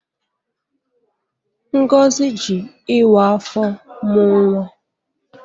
Ngozi ji ịwa afọ mụ nwa.